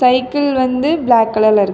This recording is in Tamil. சைக்கிள் வந்து பிளாக் கலர்ல இருக்கு.